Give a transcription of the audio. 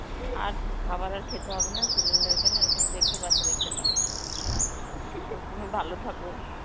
আর উম খাবার আর খেতে হবে না, cylinder কে নিয়ে ওরকম দেখে বাস রেখে দাও. ও তুমি ভালো থাকো.